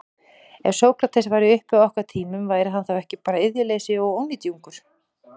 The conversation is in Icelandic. Ef Sókrates væri uppi á okkar tímum, væri hann þá ekki bara iðjuleysingi og ónytjungur?